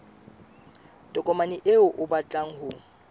tokomane eo o batlang ho